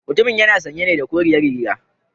Mutumun yana sanye ne da koriyar riga